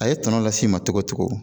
A ye tɔnɔ lasi ma cogo cogo